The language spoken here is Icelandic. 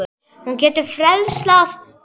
Hún getur frelsað okkur.